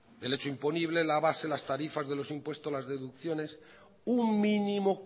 el hecho imponible la base las tarifas de los impuestos las deducciones un mínimo